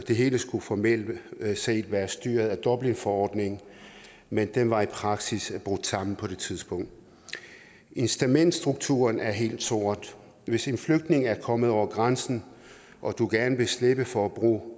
det hele skulle formelt set være styret af dublinforordningen men den var i praksis brudt sammen på det tidspunkt incitamentsstrukturen er helt sort hvis en flygtning er kommet over grænsen og du gerne vil slippe for at bruge